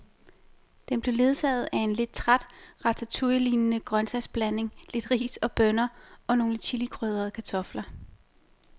Den blev ledsaget af en lidt træt ratatouillelignende grøntsagsblanding, lidt ris og bønner og nogle chilikrydrede kartofler.